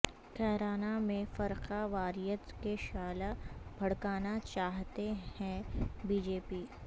کیرانہ میں فرقہ واریت کے شعلہ بھڑکانا چاہتی ہے بی جے پی